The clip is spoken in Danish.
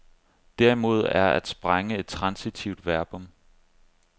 Derimod er at sprænge et transitivt verbum.